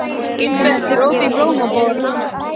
Gilbert, er opið í Blómaborg?